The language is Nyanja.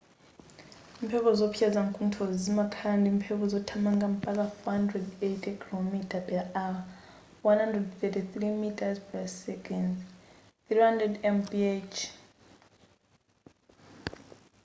mphepo zowopsa zamkunthozi zimakhala ndimphepo zothamanga mpaka 480 km / h 133 m / s; 300 mph